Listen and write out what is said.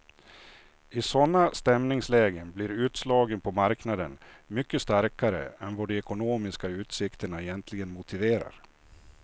I sådana stämningslägen blir utslagen på marknaden mycket starkare än vad de ekonomiska utsikterna egentligen motiverar.